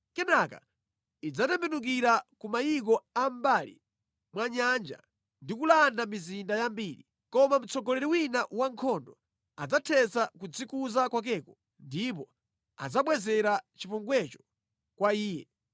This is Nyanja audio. Kenaka idzatembenukira ku mayiko a mʼmbali mwa nyanja ndi kulanda mizinda yambiri, koma mtsogoleri wina wa nkhondo adzathetsa kudzikuza kwakeko ndipo adzabwezera chipongwecho kwa iye.